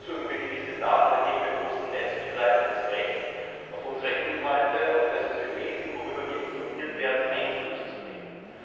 Bevorzugen wir gewisse Daten, dann geben wir großen Netzbetreibern das Recht, auf unsere Inhalte, auf das, was wir lesen, worüber wir informiert werden, Einfluss zu nehmen.